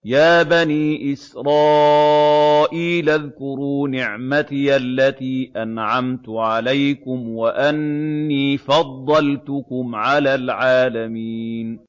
يَا بَنِي إِسْرَائِيلَ اذْكُرُوا نِعْمَتِيَ الَّتِي أَنْعَمْتُ عَلَيْكُمْ وَأَنِّي فَضَّلْتُكُمْ عَلَى الْعَالَمِينَ